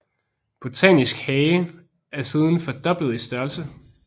Botanisk hage er siden fordoblet i størrelse